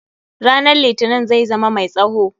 Ranan litinin zai zama mai tsawo.